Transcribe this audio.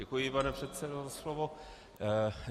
Děkuji, pane předsedo, za slovo.